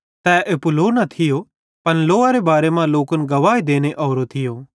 तै एप्पू लो न थियो पन लोअरे बारे मां लोकन गवाही देने ओरो थियो